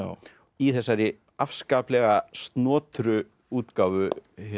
í þessari afskaplega snotru útgáfu